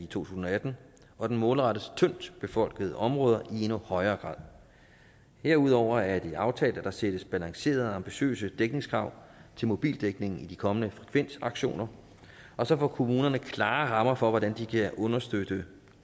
tusind og atten og den målrettes tyndtbefolkede områder i endnu højere grad derudover er det aftalt at der sættes balancerede og ambitiøse dækningskrav til mobildækningen ved de kommende frekvensauktioner og så får kommunerne klare rammer for hvordan de kan understøtte